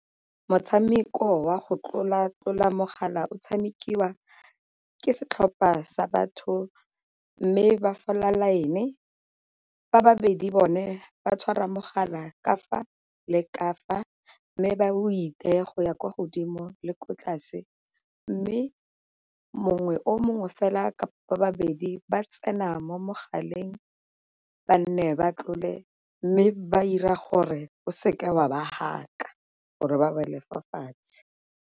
Motshameko wa go tlola-tlola mogala o tshamekiwa ke setlhopha sa batho mme ba fola line, ba babedi bone ba tshwara mogala ka fa leka fa mme ba ba o iteye go ya kwa godimo le ko tlase. Mme mongwe o mongwe fela kapa babedi ba tsena mo mogaleng ba nne ba tlole, mme ba ira gore o seke o a ba haka gore ba wele fa fatshe.